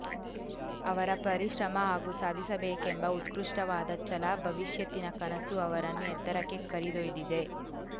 ಅವರ ಪರಿಶ್ರಮ ಹಾಗೂ ಸಾಧಿಸಬೇಕೆಂಬ ಉತ್ಕೃಷ್ಟವಾದ ಛಲ ಭವಿಷ್ಯತ್ತಿನ ಕನಸು ಅವರನ್ನು ಎತ್ತರಕ್ಕೆ ಕರೆದೋಯ್ದಿದೆ